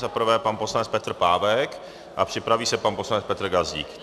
Za prvé pan poslanec Petr Pávek a připraví se pan poslanec Petr Gazdík.